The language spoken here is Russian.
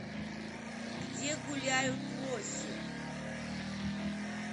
где гуляют лоси